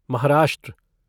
Maharashtra